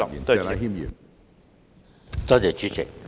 多謝主席。